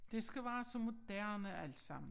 Det skal være så moderne alt sammen